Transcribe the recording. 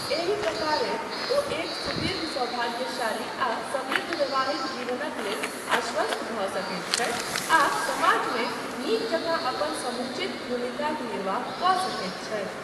एहि प्रकारेँ ओ एक सुदीर्घ, सौभाग्यशाली आ समृद्ध वैवाहिक जीवनक लेल आश्वस्त भऽ सकैत छथि आ समाजमे नीक जकाँ अपन समुचित भूमिकाक निर्वाह कऽ सकैत छथि।